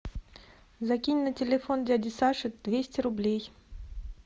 закинь на телефон дяди саши двести рублей